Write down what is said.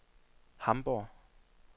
Hamborg